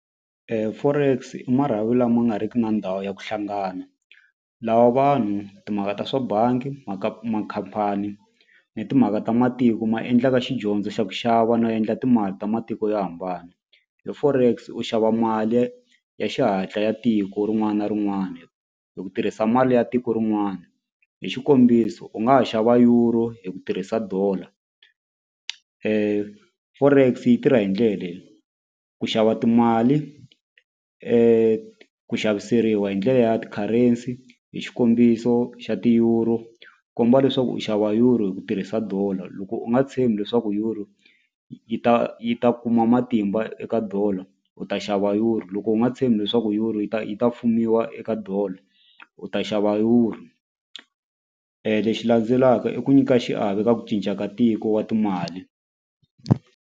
Forex i marhavi lama nga riki na ndhawu ya ku hlangana lawa vanhu timhaka ta swa bangi makhampani ni timhaka ta matiko ma endlaka xidyondzo xa ku xava no endla timali ta matiko yo hambana forex u xava mali ya ya xihatla ya tiko rin'wana na rin'wana hi ku tirhisa mali ya tiko rin'wana hi xikombiso u nga ha xava euro hi ku tirhisa dollar forex yi tirha hi ndlela leyi ku xava timali ku xaviseriwa hi ndlela ya ti-currency hi xikombiso xa ti-euro komba leswaku u xava euro hi ku tirhisa dollar loko u nga tshembi leswaku euro yi ta yi ta kuma matimba eka dollar u ta xava euro loko u nga tshembi leswaku euro yi ta yi ta eka dollar u ta xava euro lexi landzelaka i ku nyika xiave eka ku cinca ka tiko wa timali.